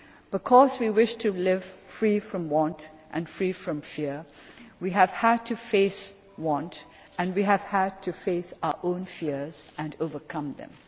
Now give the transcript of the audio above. Because we wish to live free from want and free from fear, we have had to face want and we have had to face our own fears and overcome them.